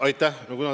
Aitäh!